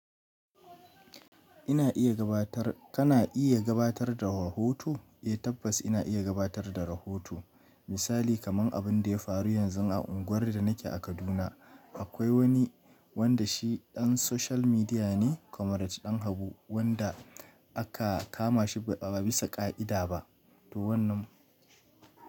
Ina iya gabatar, kana iya gabatar da rahoto? Eh tabbas ina iya gabatar da rahoto. Misali kamar abinda ya faru yanzu a unguwar da nake a Kaduna. Akwai wani wanda shi ɗan social media ne, Comrade Danhabu wanda aka kama shi ba bisa ƙa'ida ba. To wannan.